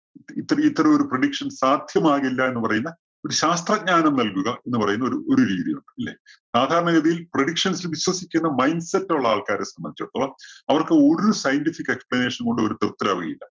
ഇത്തരം ഇത്തരം ഒരു predictions സാധ്യമാകില്ല എന്നു പറയുന്ന ഒരു ശാസ്ത്രജ്ഞാനം നൽകുക എന്ന് പറയുന്ന ഒരു ഒരു രീതിയുണ്ട്. ഇല്ലേ? സാധാരണ ഗതിയിൽ predictions വിശ്വസിക്കുന്ന mind set ഉള്ള ആൾക്കാരെ സംബന്ധിച്ചിടത്തോളം അവർക്ക് ഒരു scientific explanation ഉം കൊണ്ടും അവര് തൃപ്തരാവുകയില്ല.